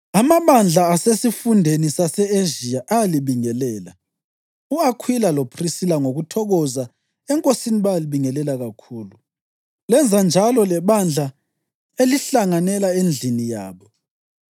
Amabandla asesifundeni sase-Ezhiya ayalibingelela. U-Akhwila loPhrisila ngokuthokoza eNkosini bayalibingelela kakhulu, lenza njalo lebandla elihlanganela endlini yabo.